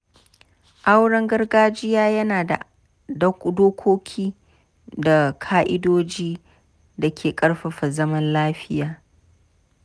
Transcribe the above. Auren gargajiya yana da dokoki da ka’idojin da ke ƙarfafa zaman lafiya.